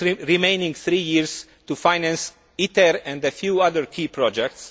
remaining three years to finance ITER and a few other key projects.